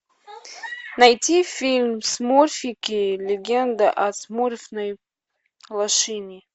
найти фильм смурфики легенда о смурфной лощине